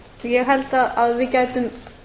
ég held að við gætum